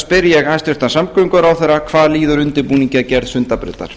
spyr ég hæstvirtan samgönguráðherra hvað líður undirbúningi að gerð sundabrautar